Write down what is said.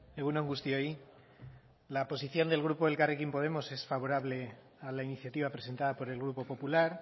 egun on guztioi la posición del grupo elkarrekin podemos es favorable a la iniciativa presentada por el grupo popular